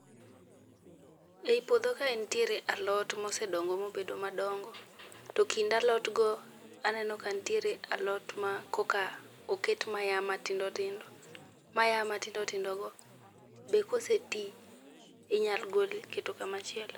Ei puodho kae nitiere alot mosedongo mobedo madongo. To ekind alot go, aneno ka nitiere alot ma koka oket ma ya matindo tindo. Ma ya matindo tindo go be koseti , inyalo gol iketo kama chielo.